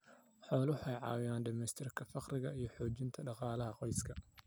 Xooluhu waxay caawiyaan dhimista faqriga iyo xoojinta dhaqaalaha qoyska.